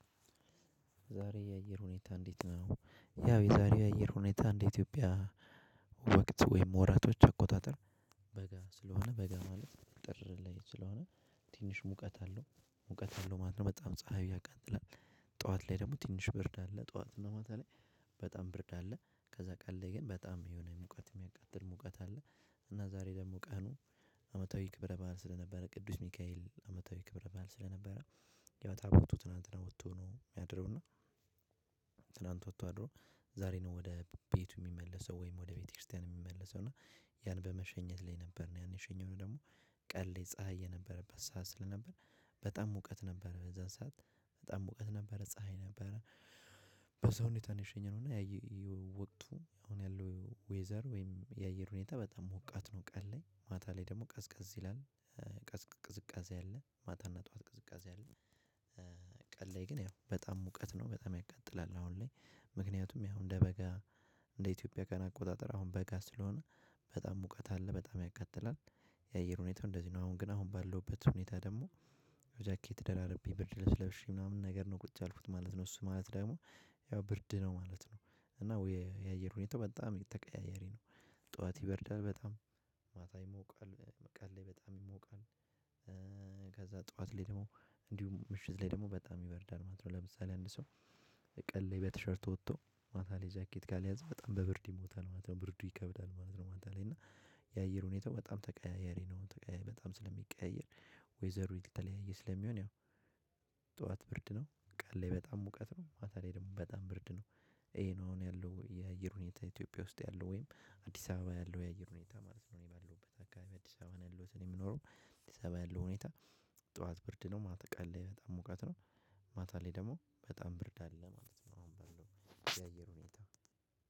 ዛሬ የየር ሁኔታ እንዴት ነው ያው የዛሬ የየር ሁኔታ እንዴት ኢትዮጵያ? ወቅት ወይም ወራቶች አቆጣጠር በጋ ስለሆነ በጋ ማለት ጥር ላይ ስለሆነ ትንሽ ሙቀት አለው ሙቀት አለው አለው ማለት ነው በጣም ፀሀዩ ያቃጥላል። ጠዋት ላይ ደግሞ ትንሽ ብርድ አለ ጠዋት ነው በተለይ በጣም ብርድ አለ ከዛ ቀን ላይ ግን በጣም የሆነ ሙቀት የሚያቃጥል ሙቀት አለ። እና ዛሬ ደግሞ ቀኑ አመታዊ ክብረ በዓል ስለነበረ ቅዱስ ሚካኤል አመታዊ ክብረ ባህል ስለነበረ። ያው ታቦቱ ትላንትና ወጥቶ ነው ያደረው እና ትላንት ወጥቶ አድሮ ዛሬ ነው ወደ ቤቱ የሚመለሰው ወይም ወደ ቤተክርስቲያን የሚመለሰው እና። ያን በመሸኘት ላይ ነበር ያን የሸኘነው ደግሞ ቀን ፀሀይ የነበረበት ሰዓት ስለነበር። በጣም ሙቀት ነበረ በዛን ሰዓት በጣም ሙቀት ነበረ ፀሀይ ነበረ። በዛ ሁኔታ ነው እና የሸኘነው እና። ወቅቱ አሁን ያለው ዌዘር ወይም የአየር ሁኔታ በጣም ሞቃት ነው ቀን ላይ ማታ ላይ ደግሞ ቀዝቃዝ ይላል። ቀዝቃዝ ቅዝቃዜ አለ ማታ ጠዋት ቀዝቃዛ ያለ። ቀን ላይ ግን በጣም ሙቀት ነው። በጣም ያቃጥላል። በጣም ሙቀት አለ በጣም ያቀጥላል። ጃኬት ደራርቤ ብርድ ለብሼ ምናምን ነገር ነው ቁጭ ያልኩት ማለት ነው። እሱ ማለት ደግሞ ያው ብርድ ነው ማለት ነው። እና የየር ሁኔታው በጣም ተቀያያሪ ነው። ጠዋት ይበርዳል በጣም ማታ ይሞቃል ቀል ላይ በጣም ይሞቃል። ከዛ ጠዋት ላይ ደግሞ እንዲሁም ምሽት ላይ ደግሞ በጣም ይበርዳል ማለት ነው። ለምሳሌ አንድ ሰው ቀለይ በቲሸርት ወጥቶ ማታ ላይ ጃኬት ጋር ሊያዝ በጣም በብርድ ይሞታል ማለት ነው። ብርዱ ይከብዳል ማለት ነው። ማታ ላይ እና የአየር ሁኔታው በጣም ተቀያያሪ ነው በጣም ስለሚቀያየር። ዌዘሩ ሊተለያየ ስለሚሆን ያው ጠዋት ብርድ ነው ቃል ላይ በጣም ሙቀት ነው ማታ ላይ ደግሞ በጣም ብርድ ነው። ይሄ ነው አሁን ያለው የአየር ሁኔታ ኢትዮጵያ ውስጥ ያለው ወይም አዲስ አበባ ያለው የአየር ሁኔታ ማለት ነው። እኔ ባለውበት አካባቢ አዲስ አበባ ያለው እኔ የምኖረው አዲስ አበባ ያለው ሁኔታ። ጠዋት ብርድ ነው ማታ ቀለይ በጣም ሙቀት ነው። ማታ ላይ ደግሞ በጣም ብርድ አለ ማለት ነው የሚባለው የአየር ሁኔታ።